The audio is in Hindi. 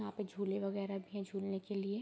यहाँ पे झूले वगेरा भी है झूलने के लिए ।